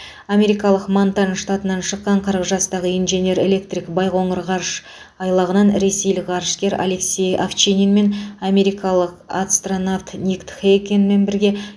америкалық монтан штатынан шыққан қырық жастағы инженер электрик байқоңыр ғарыш айлағынан ресейлік ғарышкер алексей овчинин мен америкалық астронавт ник хейгкен бірге